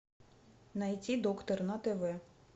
найти доктор на тв